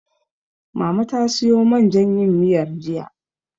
Mama ta siyo man jan yin miyar, jiya.